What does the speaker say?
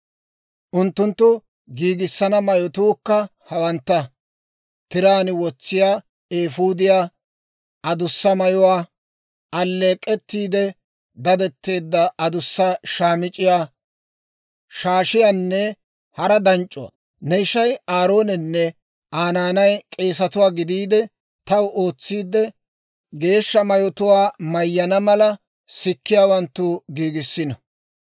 Unttunttu giigissana mayotuukka hawantta: tiraan wotsiyaawaa, eefuudiyaa, adussa mayuwaa, alleek'k'ettiide dadetteedda adussa shaamic'c'iyaa, shaashiyaanne hara danc'c'uwaa. Ne ishay Aaroonenne Aa naanay k'eesatuwaa gidiide taw ootsiide geeshsha mayotuwaa mayyana mala, sikkiyaawanttu giigissiino.